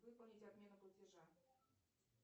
выполнить отмену платежа